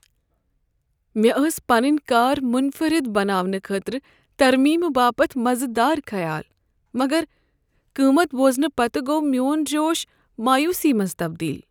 مےٚ ٲسہِ پنٛنِہ كار منفرد بناونہٕ خٲطرٕ ترمیمہٕ باپتھ مزٕ دار خیال، مگر قۭمتھ بوزنہٕ پتہٕ گوٚو میٛون جوش مایوسی منٛز تبدیل۔